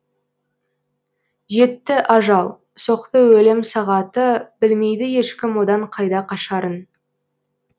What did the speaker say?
жетті ажал соқты өлім сағаты білмейді ешкім одан қайда қашарын